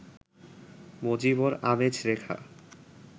মজিবর, আমেজ, রেখা